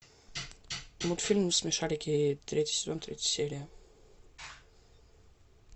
мультфильм смешарики третий сезон третья серия